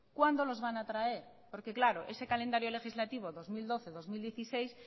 cuándo los van a traer porque claro ese calendario legislativo dos mil doce dos mil dieciséis